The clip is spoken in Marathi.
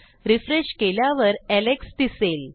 रिफ्रेश केल्यावर एलेक्स दिसेल